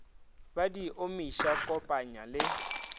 ba di omiša kopanya le